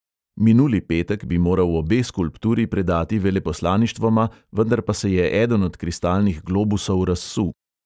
Minuli petek bi moral obe skulpturi predati veleposlaništvoma, vendar pa se je eden od kristalnih globusov razsul.